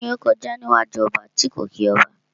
Kíni ó kọjá níwájú ọba tí kò kí ọba?